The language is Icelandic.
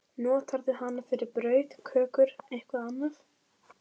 Notarðu hana fyrir brauð, kökur, eitthvað annað?